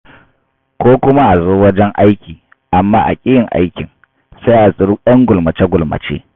Ko kuma a zo wajen aiki, amma a ƙi yin aikin, sai a tsiri ‘yan gulmace-gulmace.